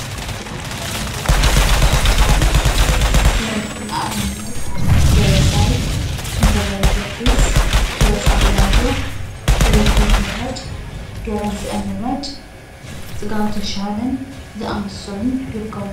ብናይ ባህላዊ ሙዚቃ ዝጫወቱ ደረፍቲ ንኣብነት ደበሳይ፣ ክንፈ ገብረገርግስ ፣ኪሮስ ኣለማዮህ፣ ገብረሂወት ምራጭ፣ ገረንሰአ ምራጭ፣ ፅጋቡ ተሻለን ዝኣመሰሉን ይርከቡ።